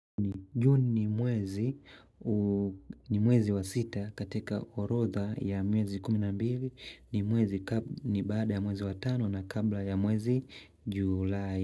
Juni ni mwezi ni mwezi wa sita katika orodha ya miezi kumi na mbili ni mwezi baada ya mwezi wa tano na kabla ya mwezi julai.